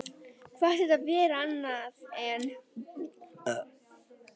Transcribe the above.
Hvað ætti þetta að vera annað?